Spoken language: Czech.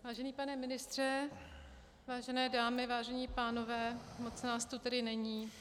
Vážený pane ministře, vážené dámy, vážení pánové, moc nás tu tedy není.